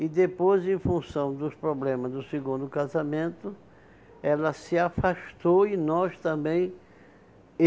E depois, em função dos problemas do segundo casamento, ela se afastou e nós também.